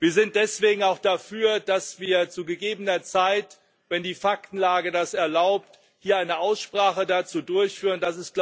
Wir sind deswegen auch dafür, dass wir zu gegebener Zeit, wenn die Faktenlage das erlaubt, hier eine Aussprache dazu durchführen.